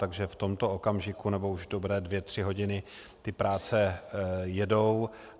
Takže v tomto okamžiku, nebo už dobré dvě tři hodiny ty práce jedou.